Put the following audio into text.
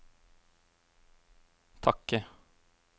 takket